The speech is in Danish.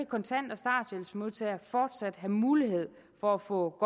kontant og starthjælpsmodtagere fortsat have mulighed for at få